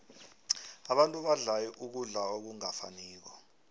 abantu badla ukudla okungafaniko